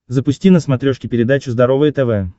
запусти на смотрешке передачу здоровое тв